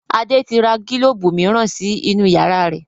Adé tí ra gílóóbù miran sí inú yàrá wa